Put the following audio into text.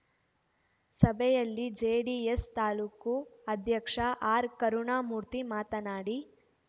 ಸಭೆಯಲ್ಲಿ ಜೆಡಿಎಸ್‌ ತಾಲೂಕು ಅಧ್ಯಕ್ಷ ಆರ್‌ಕರುಣಾಮೂರ್ತಿ ಮಾತನಾಡಿ